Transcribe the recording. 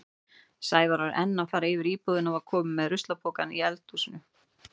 Sævar var enn að fara yfir íbúðina og var kominn með ruslapokann úr eldhúsinu.